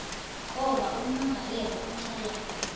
ngoba ummangalelwa uhlala